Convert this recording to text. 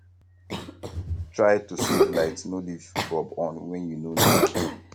try to save light no leave bulb on when you no need am